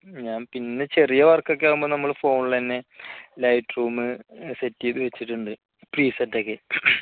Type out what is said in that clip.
ഞാൻ പിന്നെ ചെറിയ work ഒക്കെ ആകുമ്പോൾനമ്മള് phone ൽ തന്നെ light room set ചെയ്തു വച്ചിട്ടുണ്ട് P set ഒക്കെ